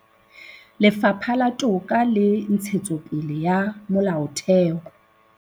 Lefapha la Toka le Ntshetsopele ya Molaotheo